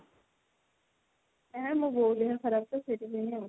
ଏ ମୋ ବଉ ଦେହ ଖରାପ ତ ସେଥିପାଇଁ ଆଉ।